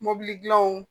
Mɔbili dilanw